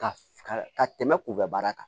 Ka ka ka tɛmɛ kunbaara kan